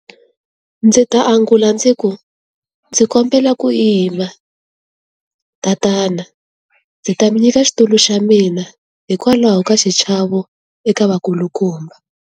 Ndzi ta angula ndzi ku, ndzi kombela ku yima, tatana. Ndzi ta mi nyika xitulu xa mina, hikwalaho ka xichavo eka vakulukumba.